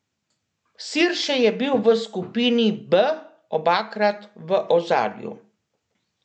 Sirše je bil v skupini B obakrat v ozadju.